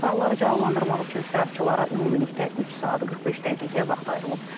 Sualları cavablandırmaq üçün iştirakçılara ümumilikdə 3 saat 45 dəqiqə vaxt ayrılıb.